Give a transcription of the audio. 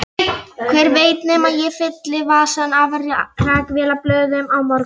Hver veit nema ég fylli vasana af rakvélablöðum á morgun.